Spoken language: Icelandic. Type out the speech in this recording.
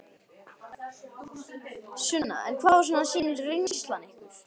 Sunna: En hvað svona sýnir reynslan ykkur?